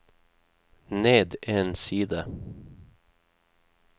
ned en side